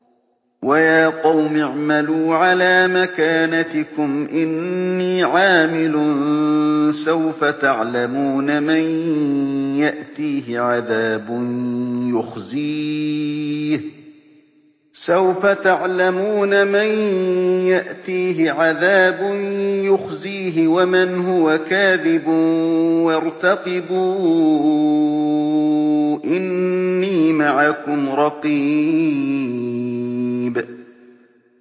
وَيَا قَوْمِ اعْمَلُوا عَلَىٰ مَكَانَتِكُمْ إِنِّي عَامِلٌ ۖ سَوْفَ تَعْلَمُونَ مَن يَأْتِيهِ عَذَابٌ يُخْزِيهِ وَمَنْ هُوَ كَاذِبٌ ۖ وَارْتَقِبُوا إِنِّي مَعَكُمْ رَقِيبٌ